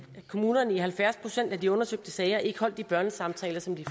kommunerne i halvfjerds procent af de undersøgte sager ikke holdt de børnesamtaler som de